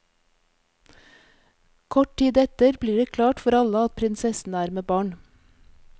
Kort tid etter blir det klart for alle at prinsessen er med barn.